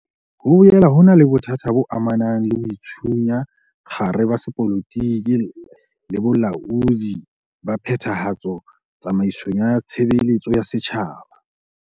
Ho boela ho ena le bothata bo amanang le boitshunya kgare ba sepolotiki le bolaodi ba phethahatso tsamaisong ya tshebeletso ya setjhaba.